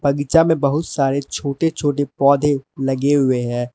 बगीचा में बहुत सारे छोटे छोटे पौधे लगे हुए हैं।